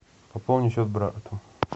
пополнить счет брату